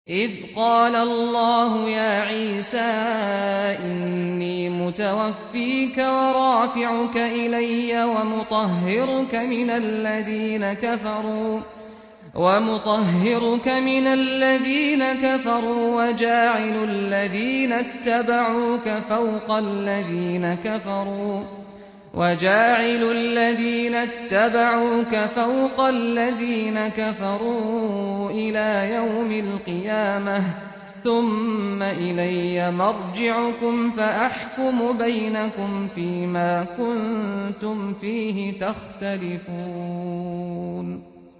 إِذْ قَالَ اللَّهُ يَا عِيسَىٰ إِنِّي مُتَوَفِّيكَ وَرَافِعُكَ إِلَيَّ وَمُطَهِّرُكَ مِنَ الَّذِينَ كَفَرُوا وَجَاعِلُ الَّذِينَ اتَّبَعُوكَ فَوْقَ الَّذِينَ كَفَرُوا إِلَىٰ يَوْمِ الْقِيَامَةِ ۖ ثُمَّ إِلَيَّ مَرْجِعُكُمْ فَأَحْكُمُ بَيْنَكُمْ فِيمَا كُنتُمْ فِيهِ تَخْتَلِفُونَ